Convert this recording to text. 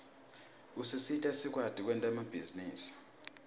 usisita sikwati kwenta emabhizinisi